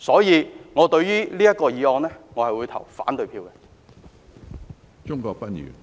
因此，就這項議案，我會投反對票。